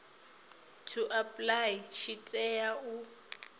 to apply tshi tea u